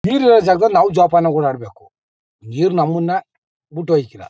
ನೀರಿರೋ ಜಾಗದಲ್ಲಿ ನಾವು ಜೋಪಾನಗೆ ಓಡಾಡ್ಬೇಕು ನೀರ್ ನಮ್ಮಣ್ಣ ಬಿಟ್ಟ್ ಹೋಯ್ಕಿಲ್ಲ.